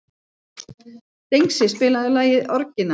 Dengsi, spilaðu lagið „Orginal“.